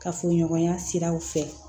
Kafoɲɔgɔnya siraw fɛ